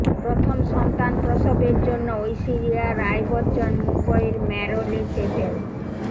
প্রথম সন্তান প্রসবের জন্য ঐশ্বরিয়া রায় বচ্চন মুম্বাইয়ের ম্যারোলে সেভেন